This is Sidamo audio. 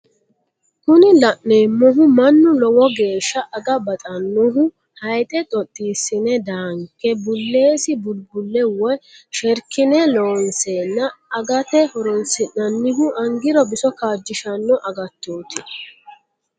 Kuni la'neemohu mannu lowo geeshsha aga badhannohu hayiidhe dhodhiisine daanke buleesi bulbulle woye sherkine looseenna agate horosi'nannihu angirono biso kajishshanno agattooti.